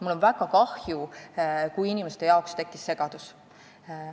Mul on väga kahju, kui inimestel tekkis segadus.